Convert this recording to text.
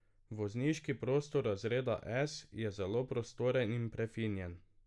Vozniški prostor razreda S je zelo prostoren in prefinjen.